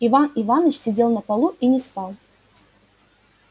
иван иваныч сидел на полу и не спал